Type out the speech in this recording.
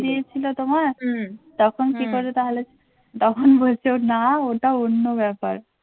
খুলে দিয়েছিল তোমার? তখন কি করবে তাহলে? তখন বলছে না ওটা অন্য ব্যাপার